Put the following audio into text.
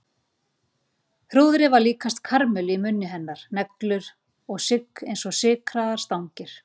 Hrúðrið var líkast karamellu í munni hennar, neglur og sigg eins og sykraðar stangir.